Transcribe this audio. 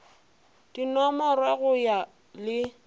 di nomorwe go ya le